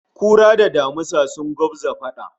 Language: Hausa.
Kura da damisa sun gwabza fada